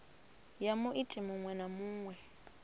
ya muiti muṅwe na muṅwe